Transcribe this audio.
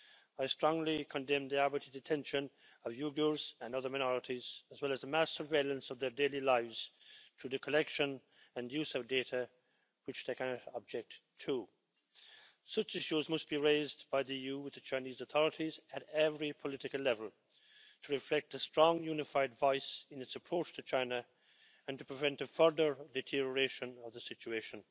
I strongly condemn the arbitrary detention of Uyghurs and other minorities, as well as the mass surveillance of their daily lives through the collection and use of data which they cannot object to. Such issues must be raised by the EU with the Chinese authorities at every political level, in order to reflect a strong, unified voice in its approach to China and to prevent a further deterioration of the situation.